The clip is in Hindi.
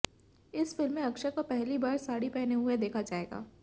इस फिल्म में अक्षय को पहली बार साड़ी पहने हुए देखा जाएगा